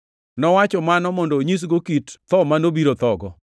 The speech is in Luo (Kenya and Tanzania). Nowacho mano mondo onyisgo kit tho ma nobiro thogo.